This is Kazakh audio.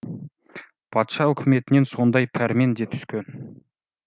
патша үкіметінен сондай пәрмен де түскен